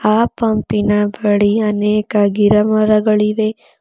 ಆ ಪಂಪಿನ ಬಳಿ ಅನೇಕ ಗಿಡಮರಗಳಿವೆ.